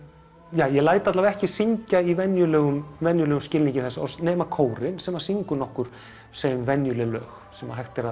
ég læt allavega ekki syngja í venjulegum venjulegum skilningi þess orðs nema kórinn sem syngur nokkur segjum venjuleg lög sem hægt er